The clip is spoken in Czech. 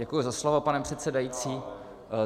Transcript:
Děkuji za slovo, pane předsedající.